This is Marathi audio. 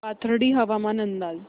पाथर्डी हवामान अंदाज